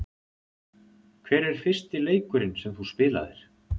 Hver er fyrsti leikurinn sem þú spilaðir?